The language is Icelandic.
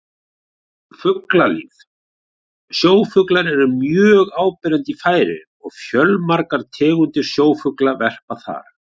Fuglalíf Sjófuglar eru mjög áberandi í Færeyjum og fjölmargar tegundir sjófugla verpa þar.